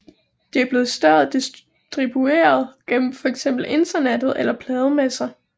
De bliver i stedet distribueret gennem fx internettet eller plademesser